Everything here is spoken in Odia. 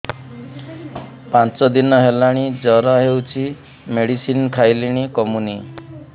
ପାଞ୍ଚ ଦିନ ହେଲାଣି ଜର ହଉଚି ମେଡିସିନ ଖାଇଲିଣି କମୁନି